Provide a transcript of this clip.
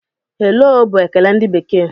"Hello" bụ ekele ndị bekee.